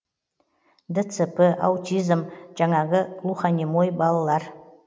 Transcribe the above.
дцп аутизм жаңағы глухонемой балдар